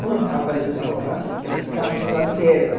Quando apareceu o celular, que ela ficava no celular direto.